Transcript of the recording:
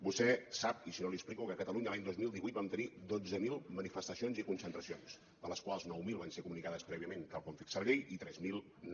vostè sap i si no l’hi explico que a catalunya l’any dos mil divuit vam tenir dotze mil manifestacions i concentracions de les quals nou mil van ser comunicades prèviament tal com fixa la llei i tres mil no